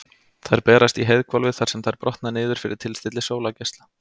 Þær berast í heiðhvolfið þar sem þær brotna niður fyrir tilstilli sólargeisla.